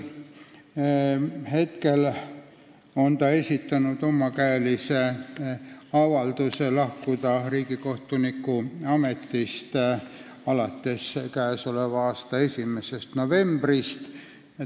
Ta on esitanud omakäelise avalduse lahkuda riigikohtuniku ametist alates k.a 1. novembrist.